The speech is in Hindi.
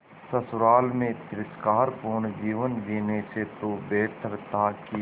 ससुराल में तिरस्कार पूर्ण जीवन जीने से तो बेहतर था कि